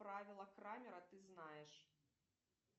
правило крамера ты знаешь